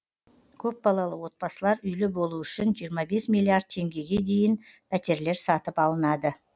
көпбалалы отбасылар үйлі болуы үшін жиырма бес миллиард теңгеге дайын пәтерлер сатып алынады